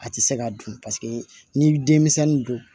A tɛ se ka dun paseke n'i ye denmisɛnnin don